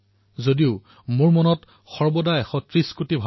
ভাৰতৰ মূলপ্ৰাণ ৰাজনীতি নহয় ভাৰতৰ মূলপ্ৰাণ ৰাজশক্তিও নহয়